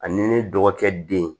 Ani ne dɔgɔkɛ den